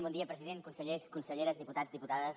bon dia president consellers conselleres diputats i diputades